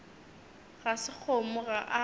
ga se kgomo ga a